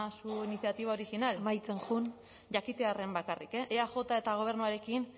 su iniciativa original amaitzen joan jakitearren bakarrik eaj eta gobernuarekin